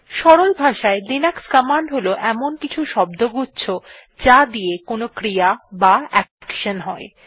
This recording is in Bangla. সরল ভাষায় লিনাক্স কমান্ড হল এমন কিছু শব্দগুচ্ছ যা দিয়ে কোনো ক্রিয়া বা অ্যাকশন হয়